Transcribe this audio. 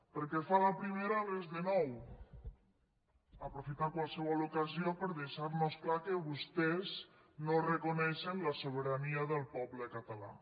pel que fa a la primera res de nou aprofitar qualsevol ocasió per deixar nos clar que vostès no reconeixen la sobirania del poble català